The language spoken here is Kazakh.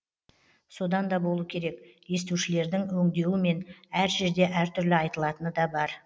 содан да болу керек естушілердің өңдеуімен әр жерде әртүрлі айтылатыны да бар